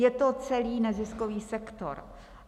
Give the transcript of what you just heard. Je to celý neziskový sektor.